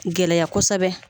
Gɛlɛya kosɛbɛ.